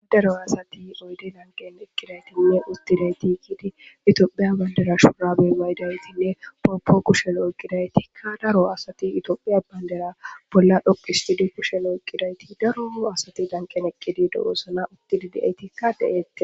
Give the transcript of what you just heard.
Adaro asati oyde danqen eqqidaytinne uttileyti kidi itophiya bayndera shurabe maydaytinne pooppo kushen oyqqidaytikka daro asati itoophiya bayndera bolla dhoqistudi kushen oqqidayti daro asati danqen eqqidi dowosana uttili di'eytikka de7eette.